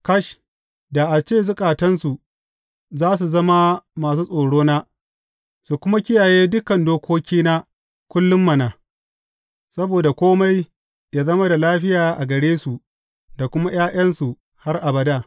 Kash, da a ce zukatansu za su zama masu tsorona, su kuma kiyaye dukan dokokina kullum mana, saboda kome yă zama da lafiya gare su, da kuma ’ya’yansu har abada!